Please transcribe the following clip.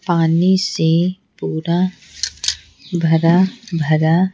पानी से पूरा भरा भरा।